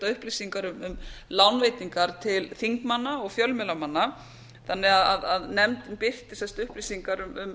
upplýsingar um lánveitingar til þingmanna og fjölmiðlamanna þannig að nefndin birti sem sagt upplýsingar um